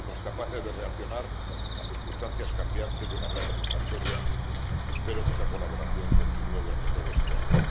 Fuimos capaces de reaccionar a circunstancias cambiantes de manera satisfactoria y espero que esa colaboración continúe durante todo este año.